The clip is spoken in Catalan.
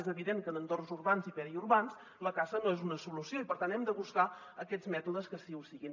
és evident que en entorns urbans i periurbans la caça no és una solució i per tant hem de buscar aquests mètodes que sí que ho siguin